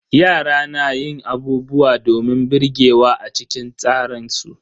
Yara na yin abubuwa domin birgewa a cikin tsaran su.